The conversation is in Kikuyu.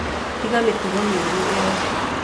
Tiga mĩtugo mĩũru ĩyo